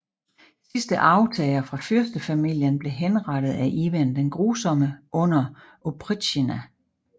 Sidste arvtager fra fyrstefamilien blev henrettet af Ivan den Grusomme under Opritsjnina